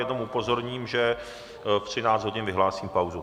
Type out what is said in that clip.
Jenom upozorním, že ve 13 hodin vyhlásím pauzu.